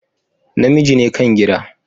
namiji ne kan gida.